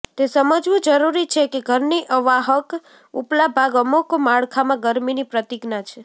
તે સમજવું જરૂરી છે કે ઘરની અવાહક ઉપલા ભાગ અમુક માળખામાં ગરમીની પ્રતિજ્ઞા છે